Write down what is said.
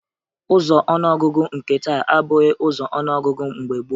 Ụzọ ọnụọgụgụ nke taa abụghị ụzọ ọnụọgụgụ mgbe gboo